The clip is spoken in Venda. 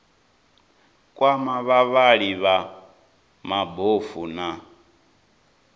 kwama vhavhali vha mabofu na